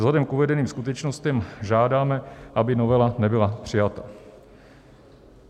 Vzhledem k uvedeným skutečnostem žádáme, aby novela nebyla přijata."